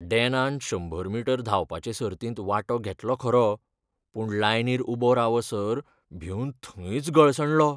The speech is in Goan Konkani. डॅनान शंबर मीटर धांवपाचे सर्तींत वांटो घेतलो खरो, पूण लायनीर उबो रावसर भिवन थंयच गळसणलो.